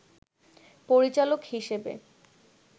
পরিচালক হিসেবে